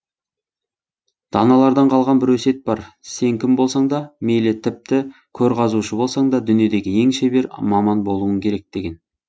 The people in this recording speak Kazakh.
даналардан қалған бір өсиет бар сен кім болсаң да мейлі тіпті көр қазушы болсаң да дүниедегі ең шебер маман болуың керек деген